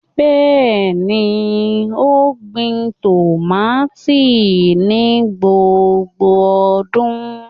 Bẹẹni, o gbin tomati ni gbogbo ọdun